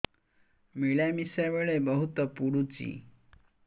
ମିଳାମିଶା ବେଳେ ବହୁତ ପୁଡୁଚି